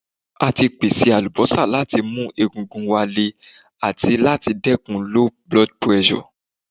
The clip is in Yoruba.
A ti pese alubosa lati mu egungun wa Le ati lati dekun low blood pressure